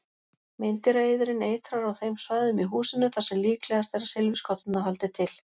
Meindýraeyðirinn eitrar á þeim svæðum í húsinu þar sem líklegast er að silfurskotturnar haldi til.